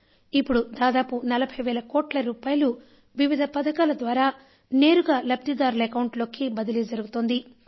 ఇప్పుడు దాదాపు 40 వేల కోట్ల రూపాయలు వివిధ పథకాల ద్వారా నేరుగా లబ్ధిదారుల అకౌంట్లలోకి బదిలీ జరుగుతోంది